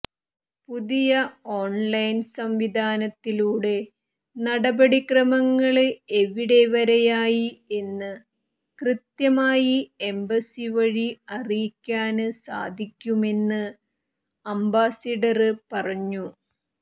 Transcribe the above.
പുതിയ ഓണ്ലൈന് സംവിധാനത്തിലൂടെ നടപടിക്രമങ്ങള് എവിടെ വരെയായി എന്ന് കൃത്യമായി എംബസി വഴി അറിയിക്കാന് സാധിക്കുമെന്ന് അംബാസഡര് പറഞ്ഞു